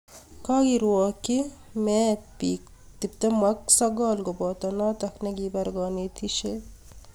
Kagerwakchi meet bik 29 koboto notok nekipar kanetishet